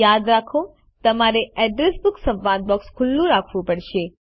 યાદ રાખો તમારે એડ્રેસ બુક સંવાદ બોક્સ ખુલ્લું રાખવું પડશે